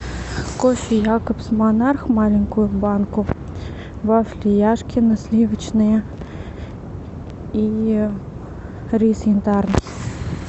кофе якобс монарх маленькую банку вафли яшкино сливочные и рис янтарный